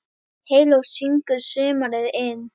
Heyló syngur sumarið inn